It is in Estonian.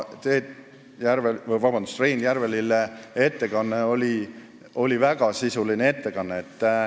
Rein Järvelille ettekanne oli väga sisuline ettekanne.